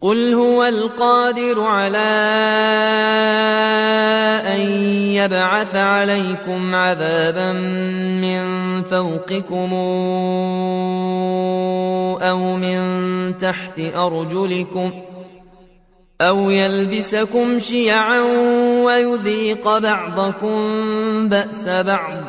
قُلْ هُوَ الْقَادِرُ عَلَىٰ أَن يَبْعَثَ عَلَيْكُمْ عَذَابًا مِّن فَوْقِكُمْ أَوْ مِن تَحْتِ أَرْجُلِكُمْ أَوْ يَلْبِسَكُمْ شِيَعًا وَيُذِيقَ بَعْضَكُم بَأْسَ بَعْضٍ ۗ